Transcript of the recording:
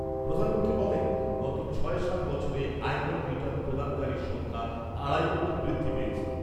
প্রধানমন্ত্রী বলেন, গত ছয় সাত বছরে আয়কর রিটার্ন প্রদানকারীর সংখ্যা আড়াই কোটি বৃদ্ধি পেয়েছে।